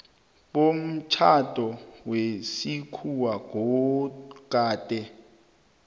bomtjhado wesikhuwa gade